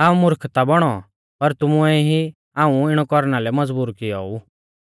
हाऊं मुर्खता बौणौ पर तुमुऐ ई हाऊं इणौ कौरना लै मज़बूर कियौ ऊ